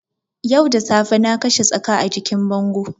Yau da safe na kashe tsaka a jikin bango